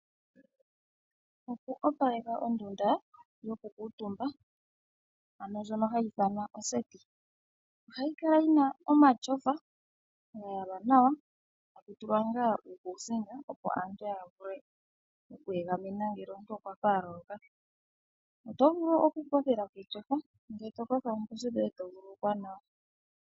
Oku opaleka ondunda yoku kuutumba ndjono hayi ithanwa oseti. Ohayi kala yi na omatyofa ga yalwa nawa, eta ku tulwa uukuusinga opo aantu ya vule oku egameneko ngele ya loloka. Oto vulu oku kothela ketyofa oomposi dhoye eto vululukwa nawa.